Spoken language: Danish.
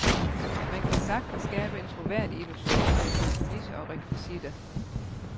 Man kan sagtens skabe en troværdig illusion med et par kulisser og rekvisitter.